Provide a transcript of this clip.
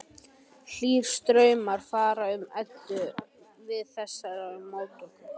Hlýir straumar fara um Eddu við þessar móttökur.